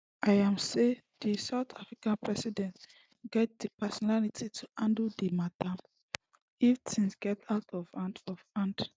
im say di south african president gatz di personality to handle di mata if tins get out of hand of hand